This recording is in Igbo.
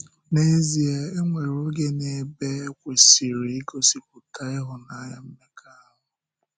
N’ezìe, e nwere oge na ebe e kwesị̀rị igosipụta hụ́nanya mmekọahụ.